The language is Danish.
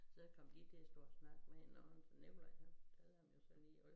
Så kom de til at stå og snakke med hinanden så Nikolaj han fortalte ham jo så lige at